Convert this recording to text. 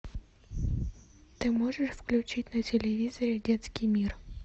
ты можешь включить на телевизоре детский мир